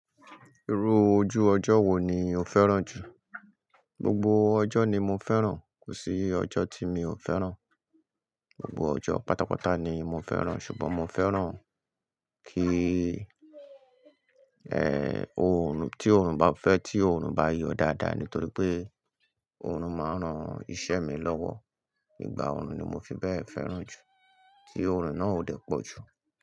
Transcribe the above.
Irú ojú ọjọ́ wo ni o fẹ́ràn jù? Gbogbo ọjọ́ ni mo fẹ́ràn, kò sí ọjọ́ tí mi ò fẹ́ràn. Gbogbo ọjọ́ pátápátá ni mo fẹ́ràn, ṣùgbọ́n mo fẹ́ràn kí, oòrùn, tí oòrùn bá fẹ́, tí oòrùn bá yọ dáadáa, nítorí pé oòrùn máa ń ran iṣẹ́ mi lọ́wọ́. Ìgbà oòrùn ni mo fi bẹ́ẹ̀ fẹ́ràn jù, tí oòrùn náà ò dẹ pọ̀jù.